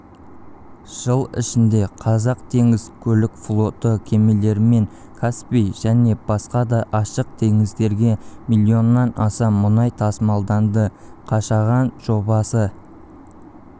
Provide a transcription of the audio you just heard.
жыл ішінде қазақ теңіз көлік флоты кемелерімен каспий және басқа да ашық теңіздерде миллионнан аса мұнай тасымалданды қашаған жобасы